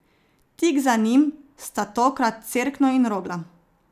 Tik za njim sta tokrat Cerkno in Rogla.